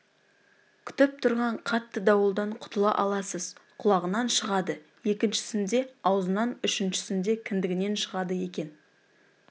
күтіп тұрған қатты дауылдан құтыла аласыз құлағынан шығады екіншісінде аузынан үшіншісінде кіндігінен шығады екен